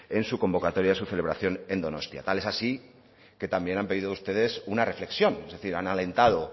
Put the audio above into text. en su convocatoria en su celebración en donostia tal es así que también han pedido ustedes una reflexión es decir han alentado